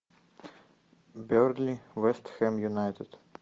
бернли вест хэм юнайтед